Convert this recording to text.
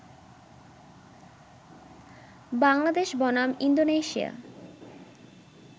বাংলাদেশ বনাম ইন্দোনেশিয়া